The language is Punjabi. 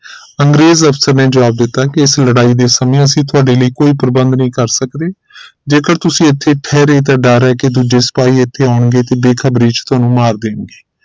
ਅੰਗਰੇਜ਼ ਅਫਸਰ ਨੇ ਜਵਾਬ ਦਿੱਤਾ ਇਸ ਲੜਾਈ ਦੇ ਸਮੇ ਅਸੀਂ ਤੁਹਾਡੇ ਲਈ ਕੋਈ ਪ੍ਰਬੰਧ ਨਹੀਂ ਕਰ ਸਕਦੇ ਜੇਕਰ ਤੁਸੀਂ ਇਥੇ ਤਾਂ ਡਰ ਹੈ ਕਿ ਦੂਜੇ ਸਿਪਾਹੀ ਇਥੇ ਆਉਣਗੇ ਤੇ ਬੇਖ਼ਬਰੀ ਚ ਤੁਹਾਨੂੰ ਮਾਰ ਦੇਣਗੇ